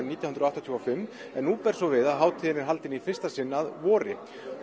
nítján hundruð áttatíu og fimm en nú ber svo við að hátíðin er haldin í fyrsta sinn að vori